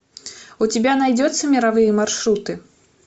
у тебя найдется мировые маршруты